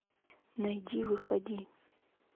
найди выходи